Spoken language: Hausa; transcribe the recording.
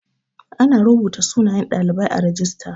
Ana rubuta sunayen ɗalibai a rajista